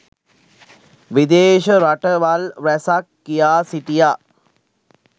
විදේශ රටවල් රැසක් කියා සිටියා